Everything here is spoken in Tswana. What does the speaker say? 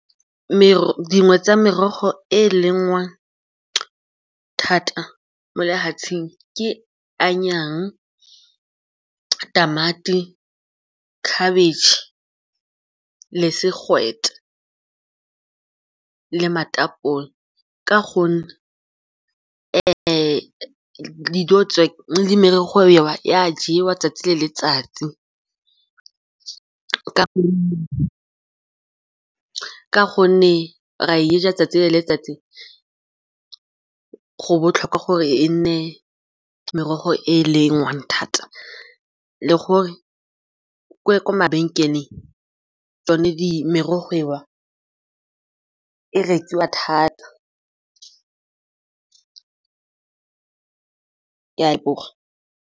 Dingwe tsa merogo e e lengwang thata mo lefatsheng ke tamati, khabitšhe le segwete le ka gonne dijo tse le merogo mengwe e a jewa 'tsatsi le letsatsi ka gonne ra e ja 'tsatsi le letsatsi. Go botlhokwa gore e nne merogo e e lengwang thata le gore kwa mabenkeleng tsone merogo eo e rekiwa thata, ka .